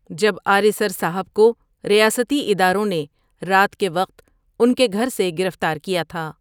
جب آریسر صاحب کو ریاستی اداروں نے رات کے وقت انکے گھر سے گرفتار کیا تھا۔